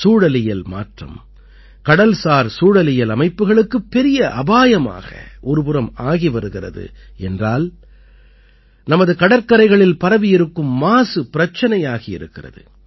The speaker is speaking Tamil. சூழலியல் மாற்றம் கடல்சார் சூழலியல் அமைப்புகளுக்கு பெரிய அபாயமாக ஒரு புறம் ஆகி வருகிறது என்றால் நமது கடற்கரைகளில் பரவியிருக்கும் மாசு பிரச்சனையாகி இருக்கிறது